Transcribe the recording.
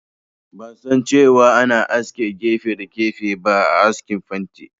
Ban san cewa ana aske gefe da gefe ba a askin fanti